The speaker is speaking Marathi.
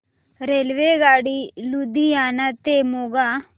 रेल्वेगाडी लुधियाना ते मोगा